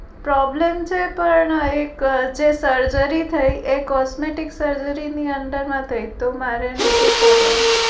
Problem છે તો એ ના એક surgery થઇ એ costume surgery ની અંદર માં થઇ તો મારે એનું છુ કરવાનું?